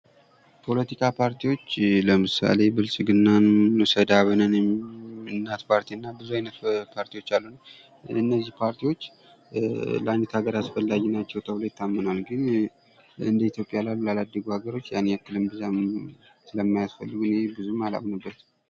ፖለቲካ ፓርቲዎች ለምሳሌ ብልጽግና እንውሰድ አብንንም ፣ እናት ፓርቲን እና ብዙ አይነት ፓርቲዎች አሉ። እነዚህ ፓርቲዎች ለአንዲት ሀገር አስፈላጊ ናቸው ተብሎ ይታመናል።